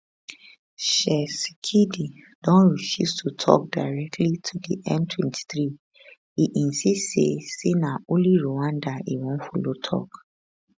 tshisekedi don refuse to tok directly to di m23 e insist say say na only rwanda e wan follow tok